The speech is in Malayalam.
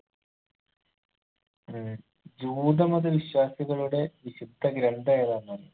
ഏർ ജൂത മത വിശ്വാസികളുടെ വിശുദ്ധ ഗ്രന്ഥം ഏതാന്നറിയോ